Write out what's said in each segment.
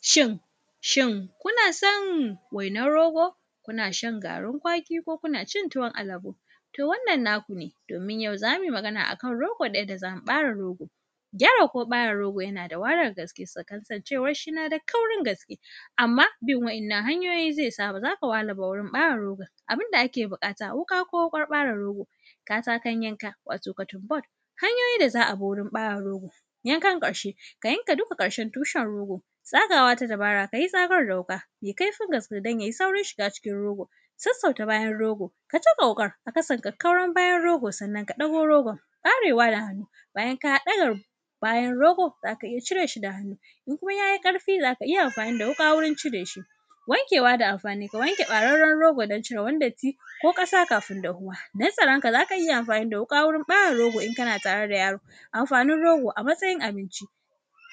Shin, shin kuna son wainar rogo? Kuna shan garin kwaki ko kuna cin tuwon alabo? Toh wannan naku ne domin yau za mu yi magana akan rogo da yadda za mu ɓare rogo. Gyara ko ɓare rogo yana da wahalar gaske kasancewar shi yana da kaurin gaske amma bin wa’innan hanyoyin zai sa ba za ka wahala ba wurin ɓare rogo. Abin da ake buƙata wuƙa ko wuƙar ɓare rogo, katakon yanka wato cutting board. Hanyoyin da za a bi wurin ɓare rogo, yankan ƙarshe ka yanka dukka ƙarshen tushen rogo, tsagawa ta dubara ka yi tsagar da wuƙa mai kaifin gaske don ya yi saurin shiga cikin rogo, sassauta bayan rogo, ka caka wuƙa a ƙasan kakkauran bayan rogo sannan ka ɗago rogon ɓarewa da hannu bayan ka ɗaga bayan rogo zaka iya cire shi da hannu in kuma yayi ƙarfi ne zaka iya amfani dawuƙa wurin cire shi. Wankewa da amfani, ka wanke ɓararren rogo don cirewan datti ko ƙasa kafin dahuwa don tsaron ka zaka iya amfani da wuƙa wurin ɓare rogo in kana tare da yaro. Amfanin rogo a matsayin abinci,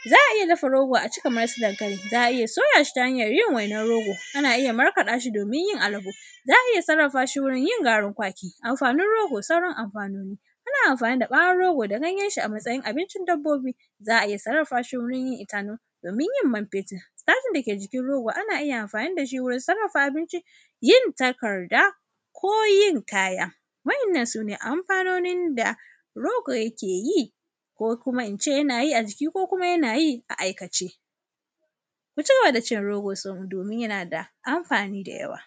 za a iya dafa rogo a ci kamar su dankali, za a iya soya shi ta hanyar yin wainar rogo, ana iya markaɗa shi domin yin alabo za a iya sarrafa shi wurin yin garin kwaki. Amfanin rogo sauran amfanoni, ana amfani da bawon rogo da ganyen shi a matsayin abincin dabbobi, za a iya sarrafa shi itanon domin yin man fetur stacin da ke jikin rogo ana iya amfani da shi wurin sarrafa abinci, yin takarda ko yin kaya. Wa’innan sune amfanonin da rogo yake yi ko kuma in ce yana yi a jiki ko kuma yana yi a aikace. Mu cigaba da cin rogo domin yana da amfani da yawa.